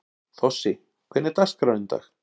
Þossi, hvernig er dagskráin í dag?